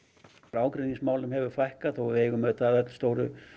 ágreiningsmálum hefur fækkað þótt við eigum auðvitað öll stóru